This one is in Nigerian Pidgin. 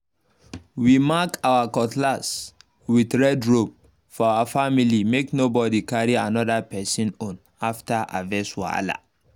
we mark our cutlass with red rope for our family make nobody carry another person own after harvest wahala